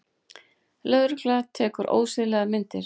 Lögregla tekur ósiðlegar myndir